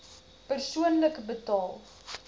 persoonlik betaal